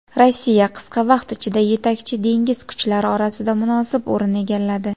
Rossiya qisqa vaqt ichida yetakchi dengiz kuchlari orasida munosib o‘rin egalladi.